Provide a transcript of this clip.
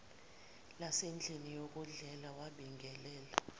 lasendlini yokudlela wabingelela